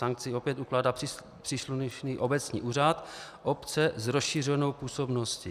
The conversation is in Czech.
Sankci opět ukládá příslušný obecní úřad obce s rozšířenou působností.